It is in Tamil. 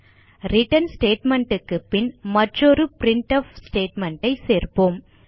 ரிட்டர்ன் ஸ்டேட்மெண்ட் க்கு பின் மற்றொரு பிரின்ட்ஃப் ஸ்டேட்மெண்ட் ஐ சேர்ப்போம்